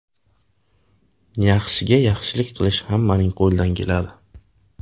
Yaxshiga yaxshilik qilish hammaning qo‘lidan keladi.